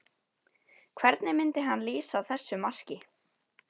Hvernig myndi hann lýsa þessu marki?